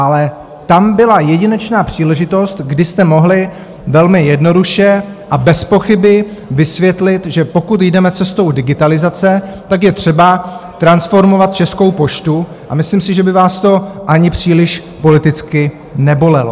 Ale tam byla jedinečná příležitost, kdy jste mohli velmi jednoduše a bez pochyby vysvětlit, že pokud jdeme cestou digitalizace, tak je třeba transformovat Českou poštu, a myslím si, že by vás to ani příliš politicky nebolelo.